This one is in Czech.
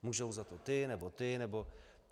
Můžou za to ti, nebo ti, nebo...